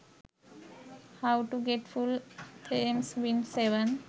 how to get full themes win 7